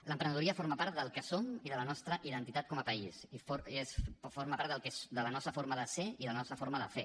l’emprenedoria forma part del que som i de la nostra identitat com a país i forma part de la nostra forma de ser i de la nostra forma de fer